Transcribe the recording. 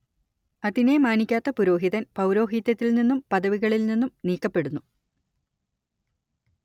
അതിനെ മാനിക്കാത്ത പുരോഹിതൻ പൗരോഹിത്യത്തിൽ നിന്നും പദവികളിൽ നിന്നും നീക്കപ്പെടുന്നു